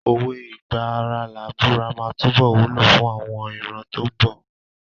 Òwe "ìgbà ara làá búra" máa túbọ̀ wúlò fún àwọn ìran tó ń bọ̀.